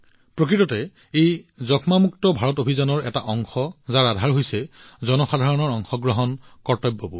প্ৰকৃততে ই যক্ষ্মা মুক্ত ভাৰত অভিযানৰ এটা অংশ যাৰ আধাৰ হৈছে জনসাধাৰণৰ অংশগ্ৰহণ কৰ্তব্যবোধ